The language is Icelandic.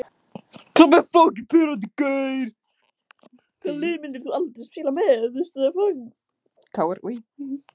Klobbi er mjög pirrandi Hvaða liði myndir þú aldrei spila með?